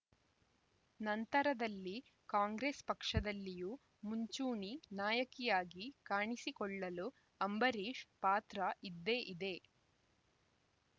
ನಂತರದಲ್ಲಿ ಕಾಂಗ್ರೆಸ್‌ ಪಕ್ಷದಲ್ಲಿಯೂ ಮುಂಚೂಣಿ ನಾಯಕಿಯಾಗಿ ಕಾಣಿಸಿಕೊಳ್ಳಲು ಅಂಬರೀಶ್‌ ಪಾತ್ರ ಇದ್ದೇ ಇದೆ